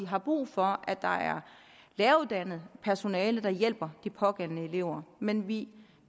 har brug for at der er læreruddannet personale der hjælper de pågældende elever men vi